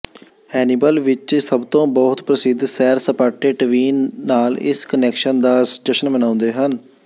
Hannibal ਵਿਚ ਸਭਤੋਂ ਬਹੁਤ ਪ੍ਰਸਿੱਧ ਸੈਰ ਸਪਾਟੇ ਟਵੀਨ ਨਾਲ ਇਸ ਕੁਨੈਕਸ਼ਨ ਦਾ ਜਸ਼ਨ ਮਨਾਉਂਦੇ ਹਨ